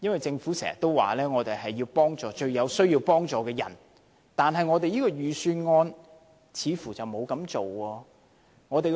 政府經常說要幫助最有需要幫助的人，但這份預算案似乎並沒有這樣做。